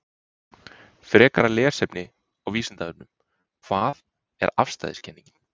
Frekara lesefni á Vísindavefnum: Hvað er afstæðiskenningin?